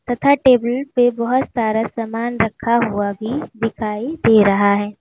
तथा टेबल पे बहुत सारा सामान रखा हुआ भी दिखाई दे रहा है।